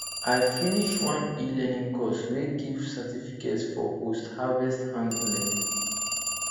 i finish one elearning course wey give certificate for postharvest handling